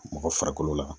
Mɔgɔ farikolo la